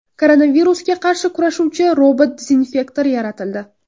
Koronavirusga qarshi kurashuvchi robot-dezinfektor yaratildi.